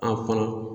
A kɔnɔ